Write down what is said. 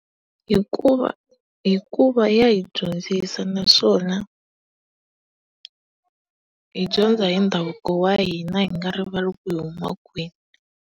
Hikuva hikuva ya hi dyondzisa naswona hi dyondza hi ndhavuko wa hina hi nga rivali ku hi huma kwihi.